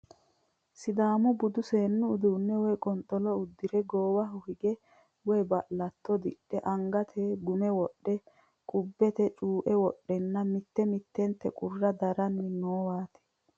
Sidaamu budu seennu uduunne woy qonxolo uddire goowaho diiga woy ba'latto di're, angate gume wodhe, qubbete cuue wodhenna mitte mittete qurra daranni noowaati.